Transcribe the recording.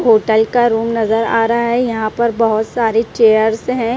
Hotel का room नजर आ रहा है यहां पर बहुत सारे चेयर्स हैं।